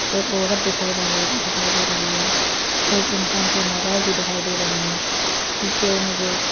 एक औरत दिखाई रही दिखाई दे रही है एक इंसान के मोबाइल भी दिखाई दे रही है पीछे मुझे--